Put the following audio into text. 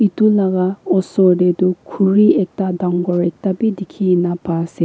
etu laga oser te toh khuri ekta dangor ekta bi dikhi kene pa ase.